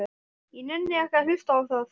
Ég nenni ekki að hlusta á það.